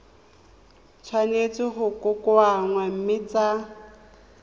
tshwanetse go kokoanngwa mme tsa